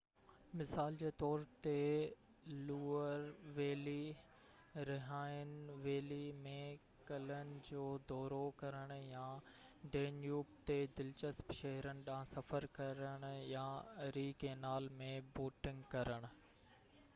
مثال جي طور تي لوئر ويلي رهائن ويلي ۾ قلعن جو دورو ڪرڻ يا ڊينيوب تي دلچسپ شهرن ڏانهن سفر ڪرڻ يا اري ڪينال ۾ بوٽنگ ڪرڻ